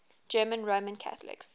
german roman catholics